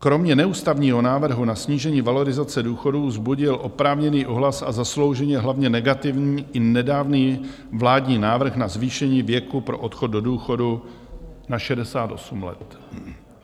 Kromě neústavního návrhu na snížení valorizace důchodů vzbudil oprávněný ohlas a zaslouženě hlavně negativní i nedávný vládní návrh na zvýšení věku pro odchod do důchodu na 68 let.